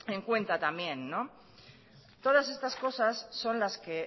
en cuenta también todas estas cosas son las que